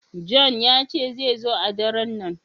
John ya ce zai zo a ɗaren nan.